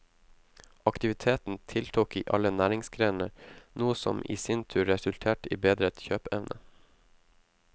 Aktiviteten tiltok i alle næringsgrener, noe som i sin tur resulterte i bedret kjøpeevne.